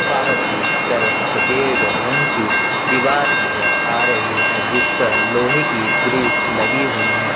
बाहर की तरफ सफेद रंग की दीवार नजर आ रही है अ जिस पर लोहे की ग्रिल्स लगी हुई है।